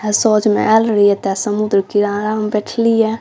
त समुन्द्र किनारा में बैठलिया |